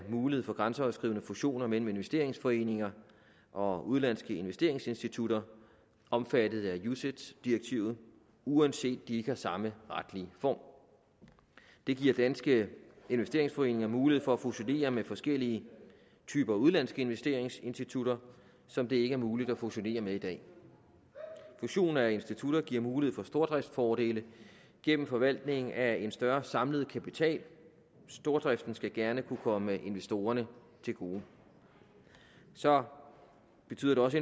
mulighed for grænseoverskridende fusioner mellem investeringsforeninger og udenlandske investeringsinstitutter omfattet af ucits direktivet uanset at de ikke har samme retlige form det giver danske investeringsforeninger mulighed for at fusionere med forskellige typer udenlandske investeringsinstitutter som det ikke er muligt at fusionere med i dag fusion af institutter giver mulighed for stordriftsfordele gennem forvaltning af en større samlet kapital stordriften skal gerne kunne komme investorerne til gode så betyder det også